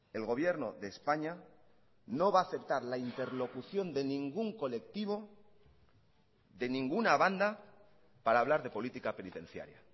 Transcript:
el gobierno de españa no va a aceptar la interlocución de ningún colectivo de ninguna banda para hablar de política penitenciaria